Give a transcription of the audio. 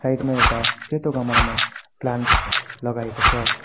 Side मा एउटा सेतो गमलामा प्लान्ट लगाइएको छ।